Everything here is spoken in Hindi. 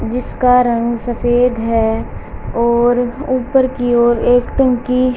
जिसका रंग सफेद है और ऊपर की ओर एक टंकी --